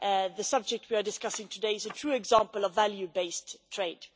The subject we are discussing today is a true example of value-based trade.